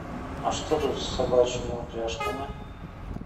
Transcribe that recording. а что тут с собачьими упряжками